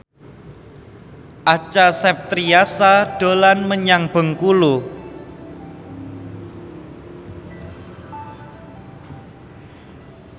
Acha Septriasa dolan menyang Bengkulu